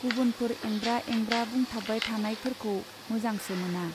गुबुनफोर एंब्रा एंब्रा बुंथाबबाय थानायफोरखौ मोजांसो मोना।